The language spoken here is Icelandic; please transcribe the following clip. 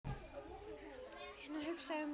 Hann hugsaði um Urði.